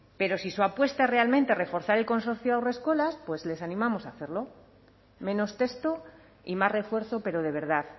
pero si su apuesta es realmente reforzar el consorcio haurreskolak pues les animamos a hacerlo menos texto y más refuerzo pero de verdad